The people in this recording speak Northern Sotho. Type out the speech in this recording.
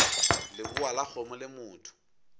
lebowa la kgomo le motho